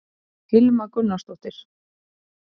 hilma gunnarsdóttir